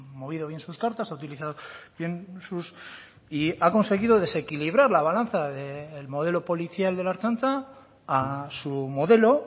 movido bien sus cartas ha utilizado bien sus y ha conseguido desequilibrar la balanza del modelo policial de la ertzaintza a su modelo